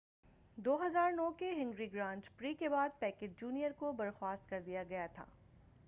2009 کے Hungary grand prix کے بعد پیکیٹ جونیئر کو برخواست کر دیا گیا تھا